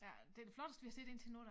Ja det det flotteste vi har set indtil nu da